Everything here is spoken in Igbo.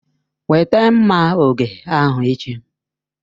Weta mma oge ahu echi!